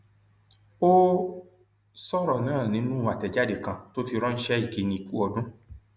ó sọrọ náà nínú àtẹjáde kan tó fi ránṣẹ ìkíni ku ọdún